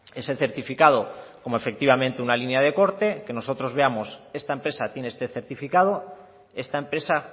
ese certificado como efectivamente una línea de corte que nosotros veamos esta empresa tiene este certificado esta empresa